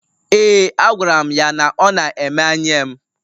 Ee, agwara m ya na ọ na-emanye m.